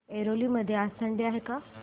ऐरोली मध्ये आज थंडी आहे का